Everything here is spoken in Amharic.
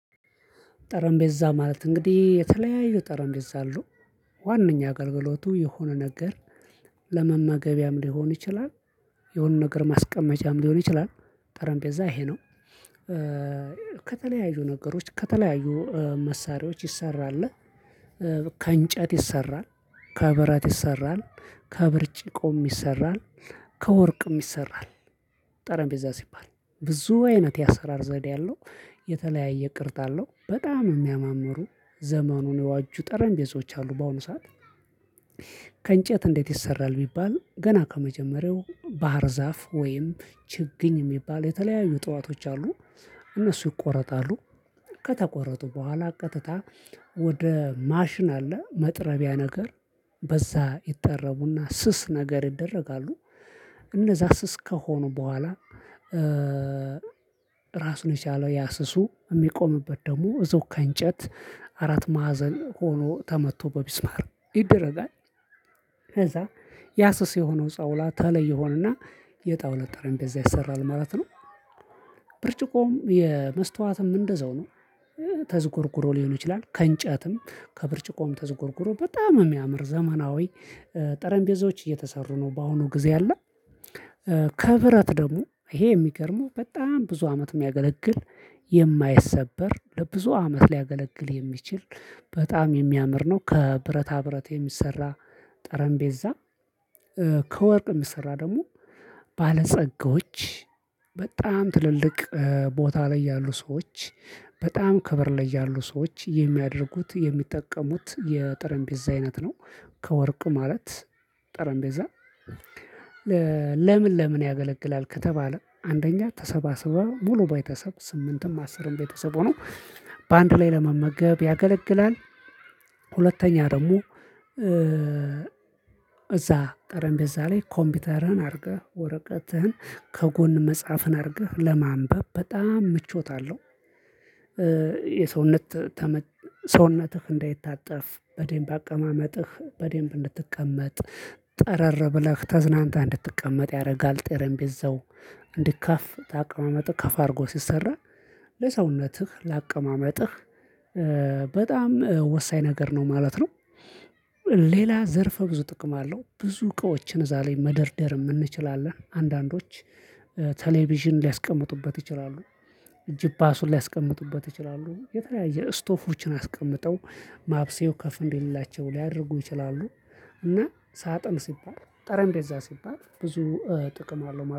ጠረምቤዛ ማለት እንግዲህ የተለያዩ ጠረምቤዛ አሉ ዋናኛ አገልግሎቱ የሆነ ነገር ለመመገቢያም ሊሆን ይችላል። የሆነ ነገር ማስቀመጫም ሊሆን ይችላል። ጠረምጴዛ ይሄ ነው። ከተለያዩ ነገሮች ከተለያዩ መሳሪያዎች ይሰራል። ከእንጨት ይሰራል ከብረት ይሰራል ከብርጭቆም ይሰራል ከወርቅም ይሰራል። ጠረንቤዛ ሲባል ብዙ አይነት የአሰራር ዘዴ አለው። የተለያየ ቅርጽ አለው በጣም የሚያማምሩ ዘመኑን የዋጁ ጠረንቤዞች አሉ በአሁኑ ሰዓት። ከእንጨት እንዴት ይሰራል ቢባል ገና ከመጀመሪያው ባህር ዛፍ ወይም ችግኝ የሚባል የተለያዩ እጽዋቶች አሉ። እነሱ ይቆረጣሉ። ከተቆረጡ በኋላ ቀጥታ ወደ ማሽን አለ መጥረቢያ ነገር በዛ ይጠረቡና ስስ ነገር ይደረጋሉ። እነዛ ስስ ከሆኑ በኋላ ራስ ነች ያለው ያ ስሱ የሚቆምበት ደግሞ እዛው ከእንጨት አራት ማዕዘን ሆኖ ተመቶ በሚስማር ይደረጋል። ከዛ ያ ስስ የሆነው ጣውላ ተለይ ሆኖና የጣውለ ጠረንቤዛ ይሰራል ማለት ነው። ብርጭቆም የመስታወትም እንደዛው ነው። ተዝጎርጉሮ ሊሆን ይችላል ከእንጨትም ከብርጭቆም ተዝጎርጉሮ በጣም የሚያምር ዘመናዊ ጠረንቤዞች እየተሰሩ ነው። በአሁኑ ጊዜ ያለ። ከብረት ደግሞ ይሄ የሚገርመው በጣም ብዙ አመት የሚያገለግል የማይሰበር ለብዙ አመት ሊያገለግል የሚችል በጣም የሚያምር ነው። ከብረታ ብረት የሚሰራ ጠረንቤዛ። የምሰራ ደግሞ ባለጸጎች በጣም ትልልቅ ቦታ ላይ ያሉ ሰዎች በጣም ክብር ላይ ያሉ ሰዎች የሚያደርጉት የሚጠቀሙት የጠረንጴዛ አይነት ነው። ከወርቅ ማለት ጠረንቤዛ ለምን ለምን ያገለግላል? ከተባለ አንደኛ ተሰባስበው ሙሉ ባይተሰብ ስምንትም አስርም ቤተሰብ ሆኖ በአንድ ላይ ለመመገብ ያገለግላል። ሁለተኛ ደግሞ እዛ ጠረንቤዛ ላይ ኮምፒውተርህን አድርገህ ወረቀትህን ከጎን መጽሐፍን አድርገህ ለማንበብ በጣም ምቾት አለው። የሰውነት ሰውነትህ እንዳይታጠፍ በዴንብ አቀማመጥህ በደንብ እንድትቀመጥ ጠረር ብለህ ተዝናንተህ እንድትቀመጥ ያደርጋል ጥረምቢዘው። እንዲካፍ አቀማመጥ ከፋ አርጎ ሲሰራ ለሰውነትህ ላቀማመጥህ በጣም ወሳኝ ነገር ነው ማለት ነው። ሌላ ዘርፈ ብዙ ጥቅም አለው ብዙ እቃዎችን እዛ ላይ መደርደርም እንችላለን አንዳንዶች ቴሌቪዥን ሊያስቀምጡበት ይችላሉ። ጅፓሱን ሊያስቀምጡበት ይችላሉ የተለያየ ስቶፎችን አስቀምጠው ማብሰያው ከፍ እንዴት የሌላቸው ሊያደርጉ ይችላሉ። እና ሳጥን ሲባል ጠረን እንዴ? እዛ ሲባል ብዙ ጥቅም አለው